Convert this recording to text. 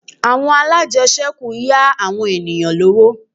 Àwọn alájẹṣẹ́kù yá àwọn ènìyàn lówó